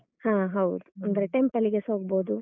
ಹ. ಹೌದು. ಅಂದ್ರೆ temple ಗೆಸ ಹೋಗ್ಬೋದು.